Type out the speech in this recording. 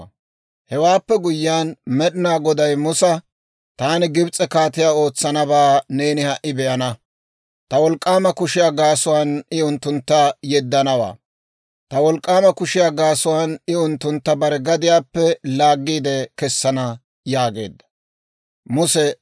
Hewaappe guyyiyaan Med'inaa Goday Musa, «Taani Gibs'e kaatiyaa ootsanabaa neeni ha"i be'ana; ta wolk'k'aama kushiyaa gaasuwaan I unttuntta yeddanawaa; ta wolk'k'aama kushiyaa gaasuwaan I unttuntta bare gadiyaappe laaggiide kessana» yaageedda.